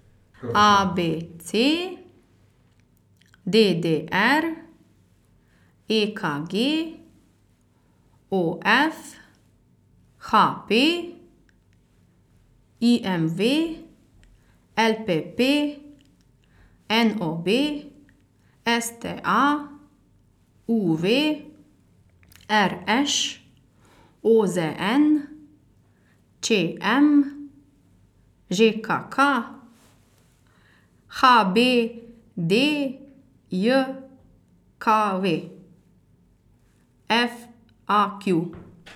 A B C; D D R; E K G; O F; H P; I M V; L P P; N O B; S T A; U V; R Š; O Z N; Č M; Ž K K; H B D J K V; F A Q.